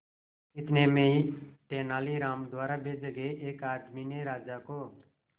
इतने में तेनालीराम द्वारा भेजे गए एक आदमी ने राजा को